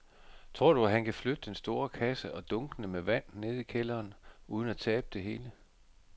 Tror du, at han kan flytte den store kasse og dunkene med vand ned i kælderen uden at tabe det hele?